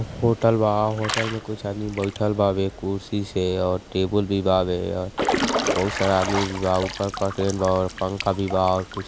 hotel बा hotel में कुछ आदमी बइठल बावे कुर्सी से और टेबल भी बावे और बहुत सारा आदमी भी बा ऊपर कटरैन बा और पंखा भी बा और कुछ --